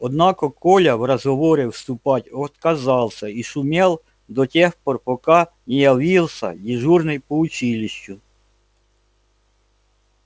однако коля в разговоры вступать отказался и шумел до тех пор пока не явился дежурный по училищу